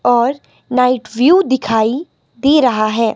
और night view दिखाई दे रहा है।